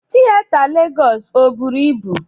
Tieta Legọs o bụrụ ịbụ?